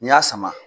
N'i y'a sama